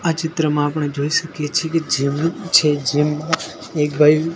આ ચિત્રમાં આપણે જોઈ શકીએ છે કે એક ભાઈ--